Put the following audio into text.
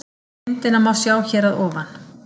Myndina má sjá hér að ofan